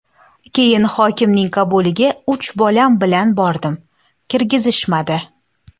Keyin hokimning qabuliga uch bolam bilan bordim, kirgizishmadi.